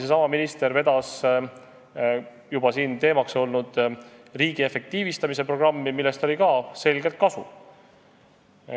Seesama minister vedas ka tänagi teemaks olnud riigi efektiivistamise programmi, millest oli samuti selgelt kasu.